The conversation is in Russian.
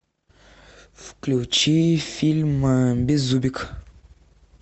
включи фильм беззубик